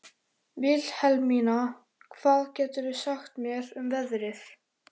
Vilhelmína, hvað geturðu sagt mér um veðrið?